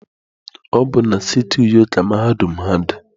Ọ bụ na siti Uyo ka mahadum ha dị.